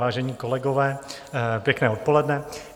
Vážení kolegové, pěkné odpoledne.